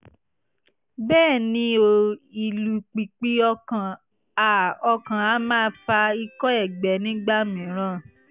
bẹ́ẹ̀ ni o ìlù pìpì ọkàn a ọkàn a máa fa ikọ́ ẹ̀gbẹ nígbà mìíràn